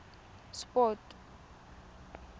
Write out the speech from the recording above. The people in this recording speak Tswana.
sport